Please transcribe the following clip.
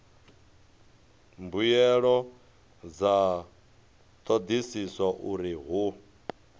mbuelo dza thodisiso uri hu